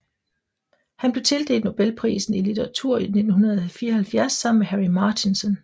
Han blev tildelt nobelprisen i litteratur i 1974 sammen med Harry Martinson